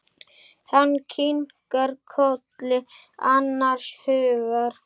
Hann kinkar kolli annars hugar.